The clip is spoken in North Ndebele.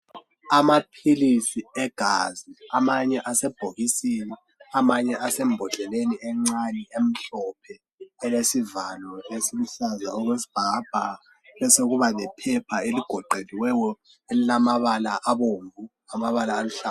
Amaphilisi egazi amanye asebhokisini amanye asembhodleleni encane emhlophe elesivalo esiluhlaza okwesibhakabhaka besokuba lephepha eligoqeliweyo elilamabala abomvu lamabala aluhlaza.